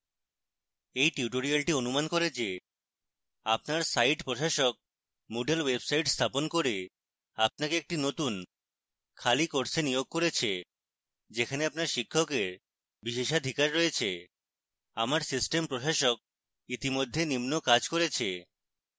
এই tutorial অনুমান করে যে আপনার site প্রশাসক moodle website স্থাপন করে আপনাকে একটি নতুন খালি course নিয়োগ করেছে যেখানে আপনার শিক্ষকের বিশেষাধিকার রয়েছে